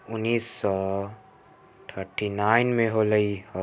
उनीस सौ thirty nine मे होलै इ--